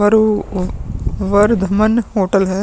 अर ओ ओ वर्धमन होटल है।